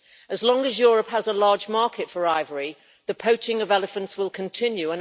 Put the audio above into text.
As long as Europe has a large market for ivory, the poaching of elephants will continue.